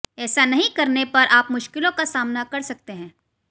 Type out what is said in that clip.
ऐसा नहीं करने पर आप मुश्किलों का सामना कर सकते हैं